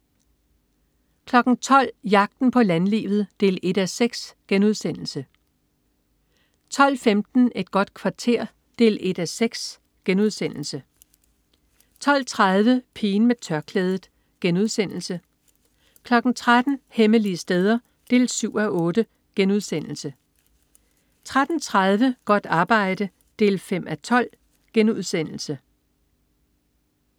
12.00 Jagten på landlivet 1:6* 12.15 Et godt kvarter 1:6* 12.30 Pigen med tørklædet* 13.00 Hemmelige steder 7:8* 13.30 Godt arbejde 5:12*